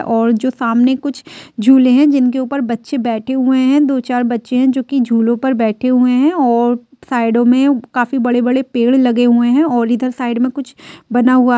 और जो सामने कुछ झूले हैं जिनके ऊपर बच्चे बैठे हुए हैं| दो-चार बच्चे हैं जोकि झूलों पर बैठे हुए हैं और साइडो में काफी बड़े-बड़े पेड़ लगे हुए हैं और इधर साइड में कुछ बना हुआ--